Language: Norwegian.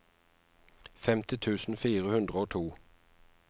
femti tusen fire hundre og to